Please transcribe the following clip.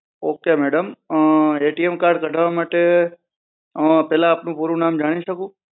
okay madam card કઢાવા માટે પેહલા આપણું પૂરું નામ જાણી શકું